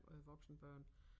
Øh voksne børn